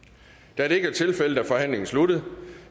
da det ikke er tilfældet er forhandlingen sluttet